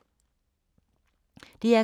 DR K